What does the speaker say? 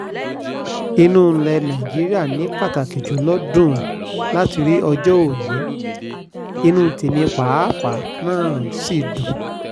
inú ilẹ̀ nàìjíríà ni pàtàkì jù lọ dùn láti rí ọjọ́ òní inú tẹ̀mí pàápàá náà sì dùn